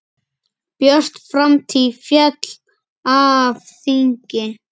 Björt framtíð féll af þingi.